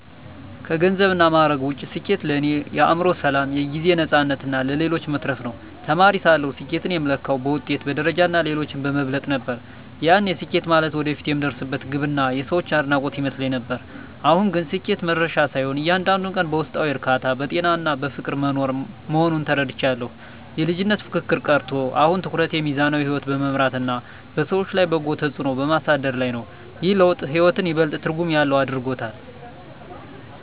ከገንዘብና ማዕረግ ውጭ፣ ስኬት ለእኔ የአእምሮ ሰላም፣ የጊዜ ነፃነትና ለሌሎች መትረፍ ነው። ተማሪ ሳለሁ ስኬትን የምለካው በውጤት፣ በደረጃና ሌሎችን በመብለጥ ነበር፤ ያኔ ስኬት ማለት ወደፊት የምደርስበት ግብና የሰዎች አድናቆት ይመስለኝ ነበር። አሁን ግን ስኬት መድረሻ ሳይሆን፣ እያንዳንዱን ቀን በውስጣዊ እርካታ፣ በጤናና በፍቅር መኖር መሆኑን ተረድቻለሁ። የልጅነት ፉክክር ቀርቶ፣ አሁን ትኩረቴ ሚዛናዊ ሕይወት በመምራትና በሰዎች ላይ በጎ ተጽዕኖ በማሳደር ላይ ነው። ይህ ለውጥ ሕይወትን ይበልጥ ትርጉም ያለው አድርጎታል።